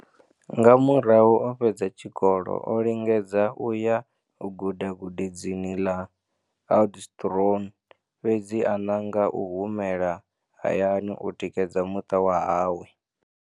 Nga murahu o fhedza tshikolo, o lingedza u ya u guda gudedzini ḽa Oudtshoorn, fhedzi a nanga u humela hayani u tikedza muṱa wa hawe.